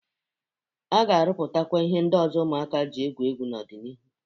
A ga-arụpụtakwa ihe ndị ọzọ ụmụaka jị egwu egwu n'ọ dị n'iru.